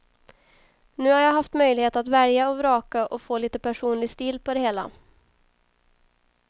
Nu har jag haft möjlighet att välja och vraka och få lite personlig stil på det hela.